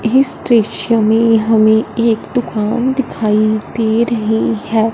इस दृश्य में हमें एक दुकान दिखाई दे रही है।